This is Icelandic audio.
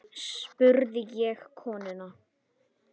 spurði ég konuna.